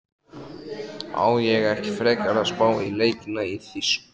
Á ég ekki frekar að spá í leikina í þýska?